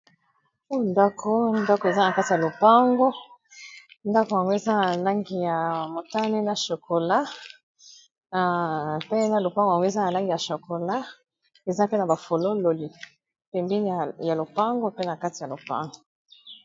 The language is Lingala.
Oyo ndako ndako eza na kati ya lopango, ndako yango eza na langi ya motane na chokola pe na lopango yango eza na langi ya chokola eza pe na ba fololo pembeni ya lopango pe na kati ya lopango.